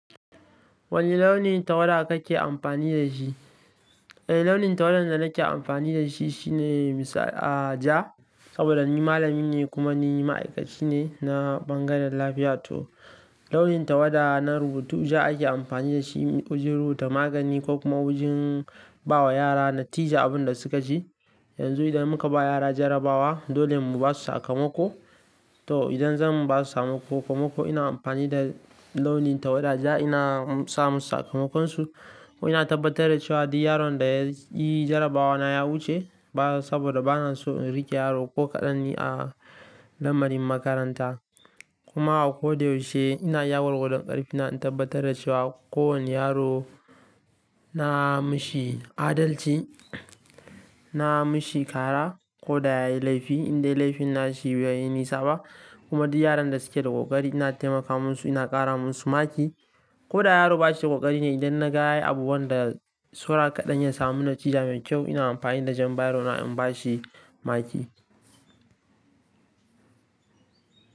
Wani launin tawada kake amfani da shi? Eh launin tawada da nake amfani da shi shine misa, ah ja. Saboda ni malami ne kuma ni ma'aikaci ne na bangaren lafiya. To launin tawada na rubutu ja ake amfani da shi wajen rubuta magani ko kuma wajen bawa yara natija abin da suka je. Yanzu idan muka ba yara jarabawa dole mu ba su sakamako. To idan zan ba su sakamako, kamako ina amfani da launin tawada ja ina sa musu sakamakonsu. Ko ina tabbatar da cewa duk yaron da yayi jarabawa na ya wuce. Ba saboda bana so in rike yaro ko kaɗan ne a lamarin makaranta. Kuma a ko da yaushe ina yawar gudan ƙarfi na in tabbatar da cewa kowane yaro na mishi adalci, na mishi kara ko da ya yi laifi. Indai laifin nashi bai yi nisa ba kuma duk yaron da suke da ƙoƙari ina taimaka musu ina ƙara musu maki. Ko da yaro ba shi da ƙoƙari ne idan na ga yayi abu wanda saura kaɗan ya samu natija mai kyau ina amfani da jan bairo ina in ba shi maki.